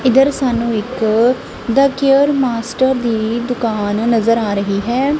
ਇਧਰ ਸਾਨੂੰ ਇੱਕ ਦਾ ਕੇਅਰ ਮਾਸਟਰ ਦੀ ਦੁਕਾਨ ਨਜ਼ਰ ਆ ਰਹੀ ਹੈ।